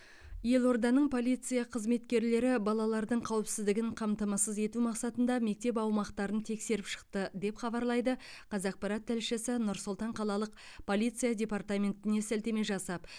елорданың полиция қызметкерлері балалардың қауіпсіздігін қамтамасыз ету мақсатында мектеп аумақтарын тексеріп шықты деп хабарлайды қазақпарат тілшісі нұр сұлтан қалалық полиция департаментіне сілтеме жасап